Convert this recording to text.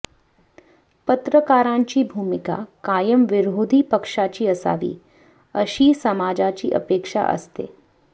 पत्रकारांची भूमिका कायम विरोधी पक्षाची असावी अशी समाजाची अपेक्षा असते